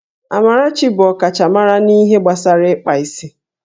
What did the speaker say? Amarachi bụ ọkachamara n'ihe gbasara ịkpa isi